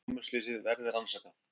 Námuslysið verði rannsakað